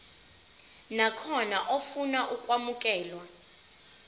nakhona ofuna ukwamukelwa